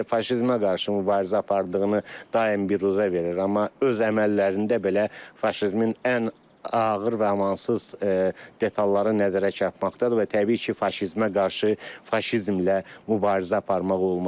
Rusiya faşizmə qarşı mübarizə apardığını daim bizə verir, amma öz əməllərində belə faşizmin ən ağır və amansız detalları nəzərə çarpmaqdadır və təbii ki, faşizmə qarşı faşizmlə mübarizə aparmaq olmaz.